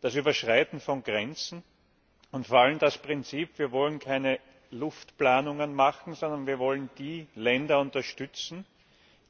das Überschreiten von Grenzen und vor allem das Prinzip, wir wollen keine Luftplanungen machen, sondern wir wollen die Länder unterstützen,